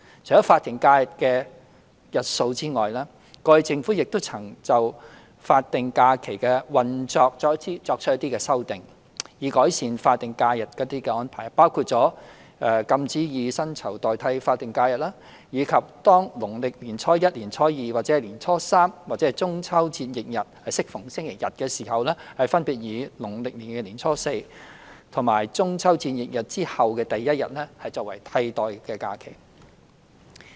除法定假日的日數外，過去政府亦曾對法定假日的運作作出不同的修訂，以改善法定假日的安排，包括禁止以薪酬代替法定假日，以及當農曆年初一、年初二、年初三或中秋節翌日適逢星期日時，分別以農曆年初四及中秋節翌日之後的第一日作為替代假期。